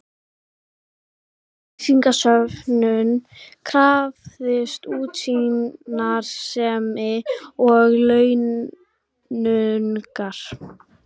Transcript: Þessi upplýsingasöfnun krafðist útsjónarsemi og launungar.